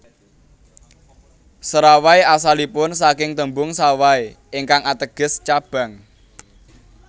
Serawai asalipun saking tembung Sawai ingkang ateges cabang